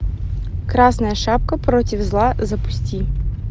красная шапка против зла запусти